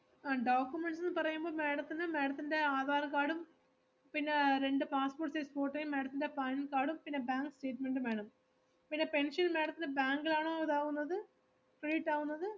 അഹ് documents ന്ന് പറയുമ്പോ madam ത്തിന് madam ത്തിൻ്റെ ആധാർ കാർഡും പിന്നെ രണ്ട് passport size photo യും madam ത്തിൻ്റെ പാൻകാർഡും പിന്നെ bank statement ഉം വേണം. പിന്നെ pension madam ത്തിന് bank ഇലാണോ ഇതാവുന്നത credit ആവുന്നത്?